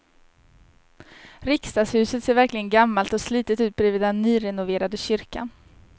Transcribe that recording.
Riksdagshuset ser verkligen gammalt och slitet ut bredvid den nyrenoverade kyrkan.